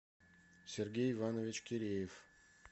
сергей иванович киреев